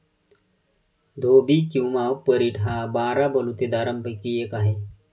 धोबी किंवा परीट हा बारा बलुतेदारांपैकी एक आहे.